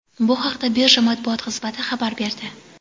Bu haqda birja Matbuot xizmati xabar berdi.